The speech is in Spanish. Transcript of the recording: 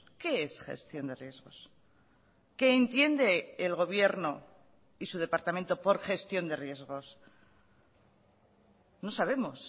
qué es gestión de riesgos que entiende el gobierno y su departamento por gestión de riesgos no sabemos